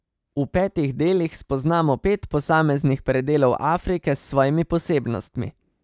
V petih delih spoznamo pet posameznih predelov Afrike s svojimi posebnostmi.